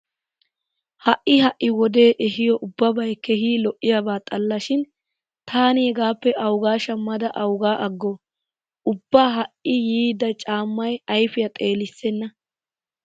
Ha"i ha"i wode ehiyo ubbabay keehi lo'iyaba xalla shin taani hegaappe awugaa shammada awuga aggoo? Ubba ha"i yiida caammay ayfiya xeelissenna.